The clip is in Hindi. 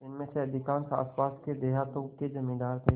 जिनमें अधिकांश आसपास के देहातों के जमींदार थे